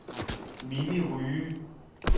Mimi Rye